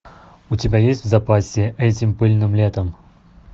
у тебя есть в запасе этим пыльным летом